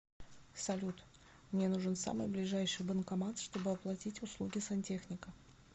салют мне нужен самый ближайший банкомат чтобы оплатить услуги сантехника